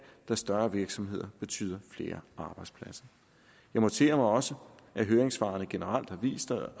da større virksomheder betyder flere arbejdspladser jeg noterer mig også at høringssvarene generelt har vist sig